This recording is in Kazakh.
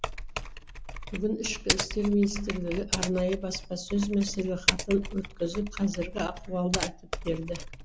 бүгін ішкі істер министрлігі арнайы баспасөз мәслихатын өткізіп қазіргі ахуалды айтып берді